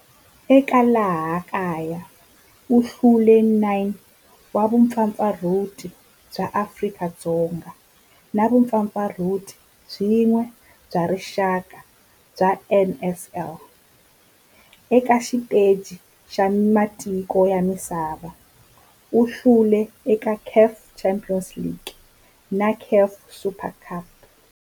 Eka laha kaya u hlule 9 wa vumpfampfarhuti bya Afrika-Dzonga na vumpfampfarhuti byin'we bya rixaka bya NSL. Eka xiteji xa matiko ya misava, u hlule eka CAF Champions League na CAF Super Cup.